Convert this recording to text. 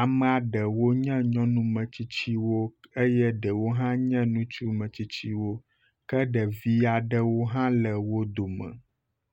Ame aɖewo nye nyɔnumetsitsiwo eye aɖewo nye ŋutsumetsitsiwo ke ɖevi aɖe hã le wo dome